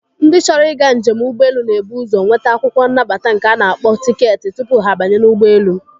Ndị chọrọ ịga njem ụgbọelu na-ebu ụzọ nweta akwụkwọ nnabata nke a na-akpọ tiketi tupu ha abanye n'ụgbọelu.